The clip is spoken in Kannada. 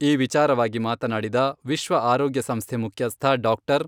ಈ ವಿಚಾರವಾಗಿ ಮಾತನಾಡಿದ ವಿಶ್ವ ಆರೋಗ್ಯ ಸಂಸ್ಥೆ ಮುಖ್ಯಸ್ಥ ಡಾ.